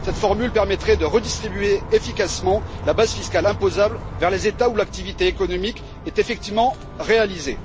Cette formule permettrait de redistribuer efficacement la base fiscale imposable vers les États où l'activité économique est effectivement réalisée.